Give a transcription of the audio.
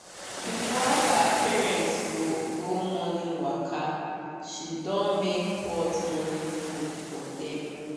before her parents go morning waka she don make hot morning food for dem.